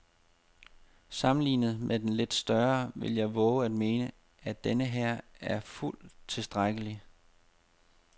Sammenlignet med den lidt større vil jeg vove at mene, at denneher er fuldt tilstrækkelig.